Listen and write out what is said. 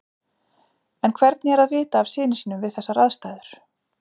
En hvernig er að vita af syni sínum við þessar aðstæður?